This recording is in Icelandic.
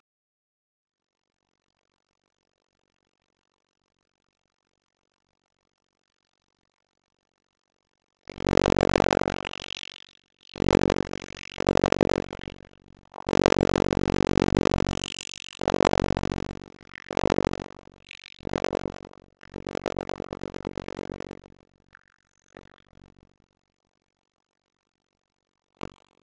Bjarki Freyr Guðmundsson frá Keflavík